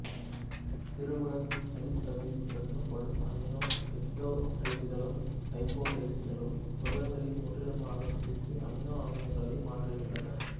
சிறுகுடல் சளிச்சவ்வில் சுரக்கப்படும் அமினோபெப்டோடைசுகளும் டைபெப்டைடேசுகளும் புரதங்களை முற்றிலுமாக சிதைத்து அமினோ அமிலங்களாக மாற்றுகின்றன